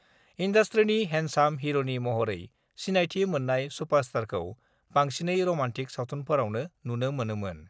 इन्डास्ट्रीनि handsome हिर'नि महरै सिनायथि मोननाय सुपारस्टारखौ बांसिनै रमान्टिक सावथुनफोरावनो नुनो मोनोमोन।